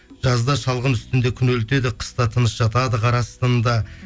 жазда шалғын үстінде күнелтеді қыста тыныш жатады қар астында